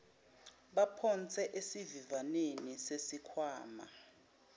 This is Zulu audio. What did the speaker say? baphonse esivivaneni sesikhwama